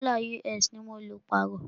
Dọ́là US ní mọ lọ pààrọ́.